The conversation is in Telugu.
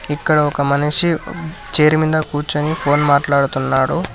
ఇక్కడ ఒక మనిషి చేరి మీద కూర్చొని ఫోన్ మాట్లాడుతున్నాడు.